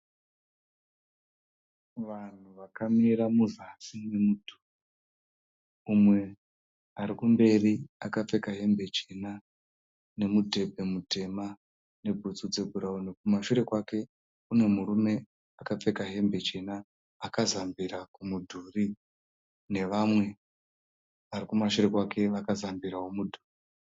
Vanhu vakamira muzasi memudhuri. Umwe arikumberi akapfeka hembe chena nemudhebhe mutema nebhutsu dzebhurauni. Kumashure kwake kunemurume akapfeka hembe chena akazambira kumudhuri, nevamwe varikumashure kwake vakazambirawo mudhuri.